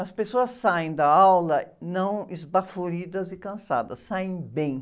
As pessoas saem da aula não esbaforidas e cansadas, saem bem.